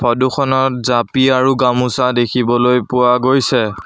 ফটোখনত জাপি আৰু গামোচা দেখিবলৈ পোৱা গৈছে।